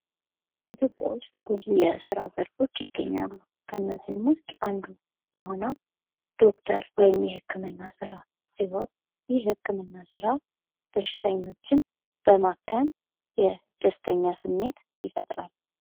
ኢትዮጵያ ውስጥ ብዙ የስራ ዘርፎች ይገኛሉ። ከነዚህም ውስጥ አንዱ የሆነው ዶክተር ወይም የህክምና ስራ ሲህን ይህ የህክምና ስራ በሽተኞችን በማከም የደስተኛ ስሜት ይፈጥራል።